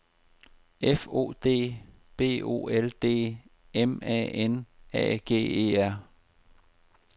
F O D B O L D M A N A G E R